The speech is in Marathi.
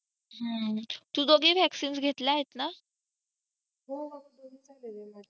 तू दोन्ही vaccines घेतले आहेत ना हो दोन्ही पण घेतलेले आहे